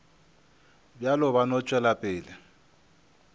bjalo ba no tšwela pele